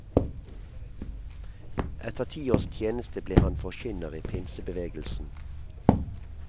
Etter ti års tjeneste ble han forkynner i pinsebevegelsen.